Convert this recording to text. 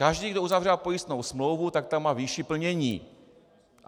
Každý, kdo uzavírá pojistnou smlouvu, tak tam má výši plnění.